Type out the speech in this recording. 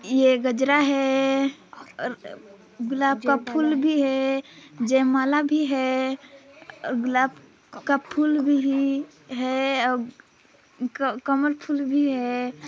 ये गजरा है और अ गुलाब का फूल भी है जय माला भी है अ गुलाब का फूल भी ही है अउ क कमल फूल भी है।